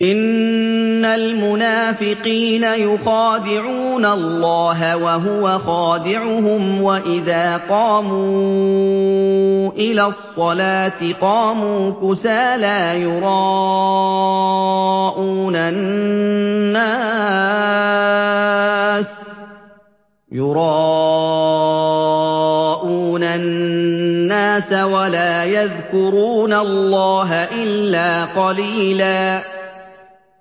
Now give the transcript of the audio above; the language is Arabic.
إِنَّ الْمُنَافِقِينَ يُخَادِعُونَ اللَّهَ وَهُوَ خَادِعُهُمْ وَإِذَا قَامُوا إِلَى الصَّلَاةِ قَامُوا كُسَالَىٰ يُرَاءُونَ النَّاسَ وَلَا يَذْكُرُونَ اللَّهَ إِلَّا قَلِيلًا